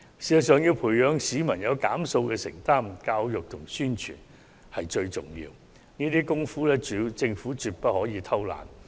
事實上，要培養市民減用塑膠用品的承擔，教育和宣傳最為重要，政府在這方面絕對不可偷懶。